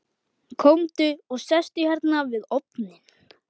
Komdu og sestu hérna við ofninn.